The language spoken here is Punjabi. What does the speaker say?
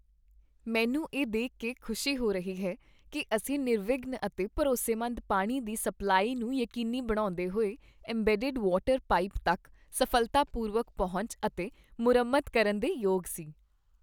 ਮੈਨੂੰ ਇਹ ਦੇਖ ਕੇ ਖੁਸ਼ੀ ਹੋ ਰਹੀ ਹੈ ਕੀ ਅਸੀਂ ਨਿਰਵਿਘਨ ਅਤੇ ਭਰੋਸੇਮੰਦ ਪਾਣੀ ਦੀ ਸਪਲਾਈ ਨੂੰ ਯਕੀਨੀ ਬਣਾਉਂਦੇ ਹੋਏ, ਏਮਬੈਡਡ ਵਾਟਰ ਪਾਈਪ ਤੱਕ ਸਫ਼ਲਤਾਪੂਰਵਕ ਪਹੁੰਚ ਅਤੇ ਮੁਰੰਮਤ ਕਰਨ ਦੇ ਯੋਗ ਸੀ।